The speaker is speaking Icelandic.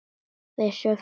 Við söfnum liði.